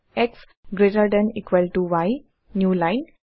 x greater than equal to y new line